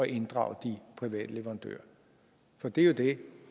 inddrage de private leverandører for det er jo det